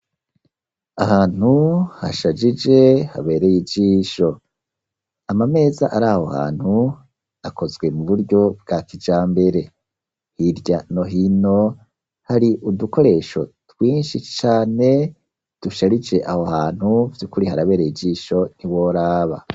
Ahantu hashajije, habereye ijisho; amameza ari aho hantu, akozwe mu buryo bwa kijambere; hirya no hino, hari udukoresho twinshi cane, dusharije aho hantu, vy'ukuri harabereye ijisho, ntiworaba.